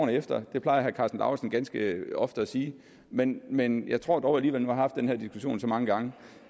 efter det plejer herre karsten lauritzen ganske ofte at sige men men jeg tror dog alligevel jeg haft den her diskussion så mange gange